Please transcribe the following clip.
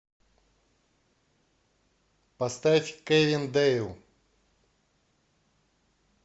поставь кэвин дэйл